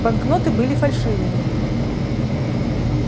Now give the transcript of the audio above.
банкноты были фальшивыми